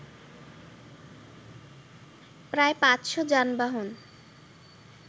প্রায় পাঁচশ যানবাহন